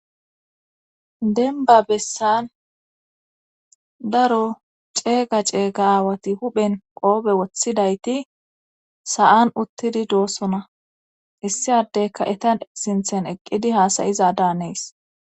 denba bessan daro ceega ceegaawati huphen qoobe woththidayti sa7an uttidi doossona issiaddey ka7etan sinthen eqqidi haasayiza daanees